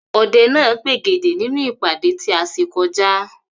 Ọdẹ náà pègèdè nínú ìpàdé tí a ṣe kọjá.